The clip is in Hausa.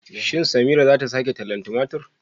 Shin Samira zata sake shaho tumatur?